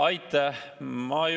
Aitäh!